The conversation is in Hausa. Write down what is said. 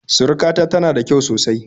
Surukata tana da kyau sosai